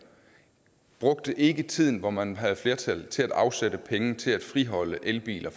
brugte ikke tiden hvor man havde flertal til at afsætte penge til fortsat at friholde elbiler